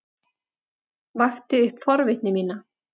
Vakti upp forvitni mína.